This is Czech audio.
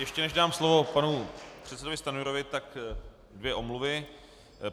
Ještě než dám slovo panu předsedovi Stanjurovi, tak dvě omluvy.